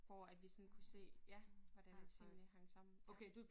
Hvor at vi sådan kunne se ja hvordan at tingene hang sammen ja